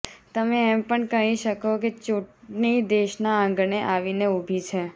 તમે એમ પણ કહી શકો કે ચૂંટણી દેશના આંગણે આવીને ઉભી છે